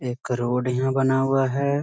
एक करोड़ यहाँ बना हुआ है ।